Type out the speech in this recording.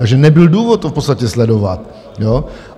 Takže nebyl důvod to v podstatě sledovat.